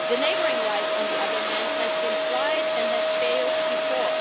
The neighbouring right, on the other hand, has been tried and has failed before.